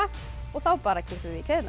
og þá bara kippum